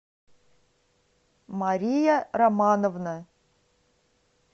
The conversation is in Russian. мария романовна